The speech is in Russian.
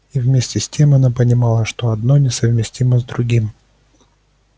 и вместе с тем она понимала что одно несовместимо с другим